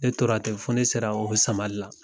Ne tora ten fɔ ne sera o samali la.